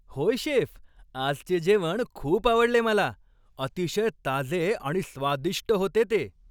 होय, शेफ, आजचे जेवण खूप आवडले मला. अतिशय ताजे आणि स्वादिष्ट होते ते.